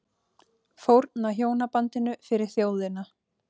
Fórna hjónabandinu fyrir þjóðina